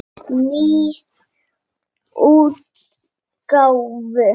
Í nýrri útgáfu!